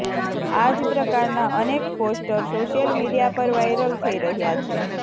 આ જ પ્રકારના અનેક પોસ્ટર સોશિયલ મીડિયા પર વાયરલ થઈ રહ્યા છે